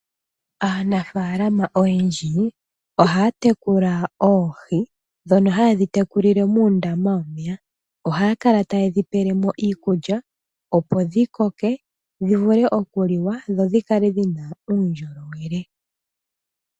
Aanafaalama oyendji oha ya tekula oohi, dhono ha ye dhi tekulile muundama womeya. Oha ya kala taye dhi pelemo iikulya, opo dhi koke, dhi vule okuliwa , dho dhikale dhina uundjolowele.